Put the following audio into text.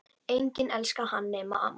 Enginn elska hann nema amman.